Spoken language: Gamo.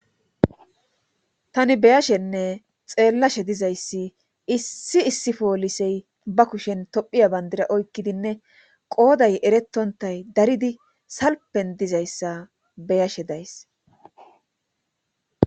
tani beyashenne xeellashe dizayssi issi issi poolisey ba kushen tophiya bandira oykkidinne qooday eretontay daridi salpen dizayssa beyashe days